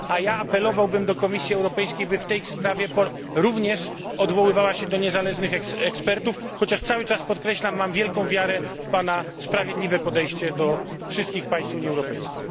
A ja apelowałbym do Komisji Europejskiej, by w tej sprawie również odwoływała się do niezależnych ekspertów, chociaż cały czas podkreślam, że mam wielką wiarę w Pana sprawiedliwe podejście do wszystkich państw Unii Europejskiej.